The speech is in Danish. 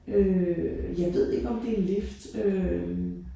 Øh jeg ved det ikke om det en lift øh